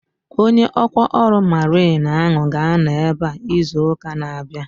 Onye ọkwá ọrụ mariin ahu ga-anọ ebea izu ụka na-abịa